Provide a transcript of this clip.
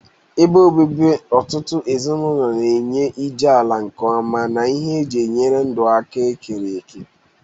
Ebe obibi ọtụtụ ezinụlọ na-enye iji ala nke ọma na ihe eji enyere ndụ aka ekereke.